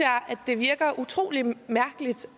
det virker utrolig mærkeligt